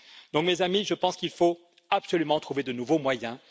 Chers amis, je pense donc qu'il faut absolument trouver de nouveaux moyens.